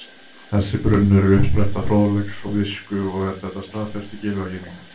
Þessi brunnur er uppspretta fróðleiks og visku og er þetta staðfest í Gylfaginningu: